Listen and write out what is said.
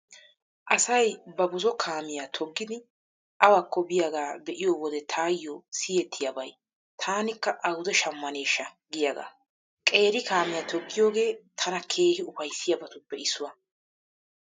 Asay ba buzo kaamiyaa toggidi awakko biyaagaa be'iyo wode taayyo siyettiyaabay 'taanikka awude shammaneeshsha' giyaagaa. Qeeri kaamiyaa toggiyoogee tana keehi ufayssiyabatuppe issuwaa.